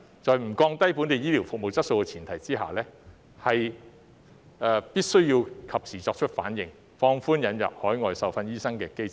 在不降低本地醫療服務質素的前提下，必須及時作出反應，放寬引入海外受訓醫生的機制。